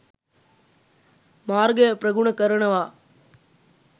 මාර්ගය ප්‍රගුණ කරනවා.